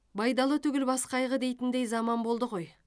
байдалы түгіл бас қайғы дейтіндей заман болды ғой